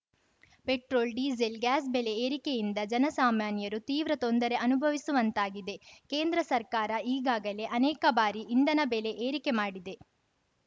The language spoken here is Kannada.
ಪೆಟ್ರೋಲ್‌ ಡೀಸೆಲ್‌ ಗ್ಯಾಸ್‌ ಬೆಲೆ ಏರಿಕೆಯಿಂದ ಜನಸಾಮಾನ್ಯರು ತೀವ್ರ ತೊಂದರೆ ಅನುಭವಿಸುವಂತಾಗಿದೆ ಕೇಂದ್ರ ಸರ್ಕಾರ ಈಗಾಗಲೇ ಅನೇಕ ಬಾರಿ ಇಂಧನ ಬೆಲೆ ಏರಿಕೆ ಮಾಡಿದೆ